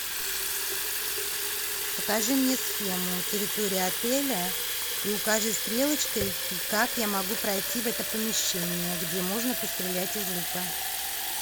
покажи мне схему территории отеля и укажи стрелочкой как я могу пройти в это помещение где можно пострелять из лука